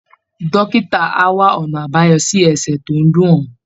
Dókítà á wá ọ̀nà àbáyọ sí ẹsẹ̀ tó ń dùn ọ́